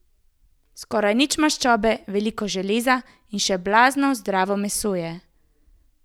Skoraj nič maščobe, veliko železa in še blazno zdravo meso je.